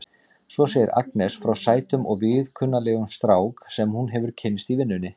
Svo segir Agnes frá sætum og viðkunnanlegum strák sem hún hefur kynnst í vinnunni.